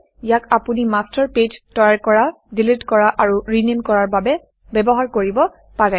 ইয়াক আপুনি master pages master page তৈয়াৰ কৰা ডিলিট কৰা আৰু ৰিনেম কৰাৰ বাবে ব্যৱহাৰ কৰিব পাৰে